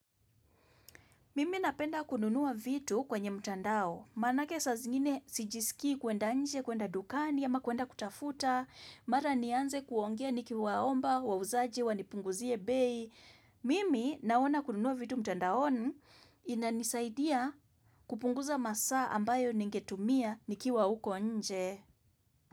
Mimi napenda kununuwa vitu kwenye mtandao. Manake sa zingine si jisiki kuenda nje, kuenda dukani ama kuenda kutafuta. Mara nianze kuongea niki waomba, wauzaji, wanipunguzie bei. Mimi naona kununuwa vitu mtandaoni inanisaidia kupunguza masa ambayo ningetumia nikiwa uko nje.